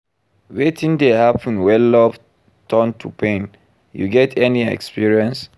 wetin dey happen when love turn to pain, you get any experience?